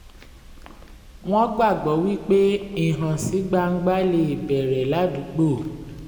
wọ́n gbàgbọ́ wípé ìhànsígbangba lè bẹ̀rẹ̀ ládùúgbò